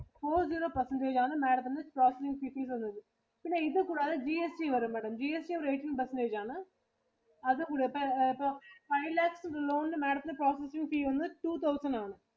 four zero percentage ആണ് Madam ത്തിനു processing fees വരുന്നത്. പിന്നെ ഇത് കൂടാതെ GST വരും Madam. GST eighteen percentage ആണ്. പിന്നെ അത് കൂടെ ഇപ്പ ~ഇപ്പം five lakhs loanMadam ത്തിനു processing fee വന്ന് two thousand ആണ്.